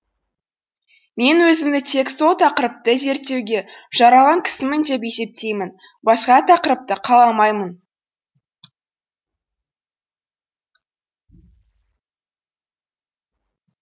мен өзімді тек сол тақырыпты зерттеуге жаралған кісімін деп есептеймін басқа тақырыпты қаламаймын